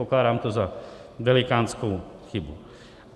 Pokládám to za velikánskou chybu.